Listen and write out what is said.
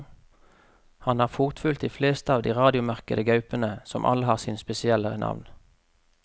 Han har fotfulgt de fleste av de radiomerkede gaupene, som alle har sine spesielle navn.